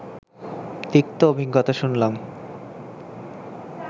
তিক্ত অভিজ্ঞতা শুনলাম